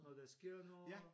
Når der sker noget